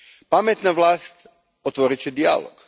Pametna vlast otvorit će dijalog.